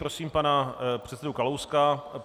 Prosím pana předsedu Kalouska.